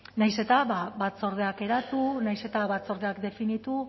nahiz eta batzordeak eratu nahiz eta batzordeak definitu